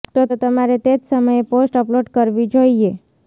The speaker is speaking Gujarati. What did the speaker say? તો તમારે તે જ સમયે પોસ્ટ અપલોડ કરવી જોઈએ